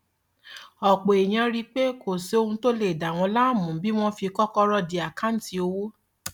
ọpọ èèyàn rí i pé kò sóhun tó lè dá wọn láàmú bí wọn fi kọkọrọ dí àkáǹtì owó